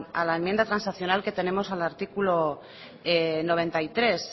a la enmienda transaccional que tenemos al artículo noventa y tres